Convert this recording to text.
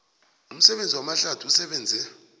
umsebenzi wamahlathi usebenze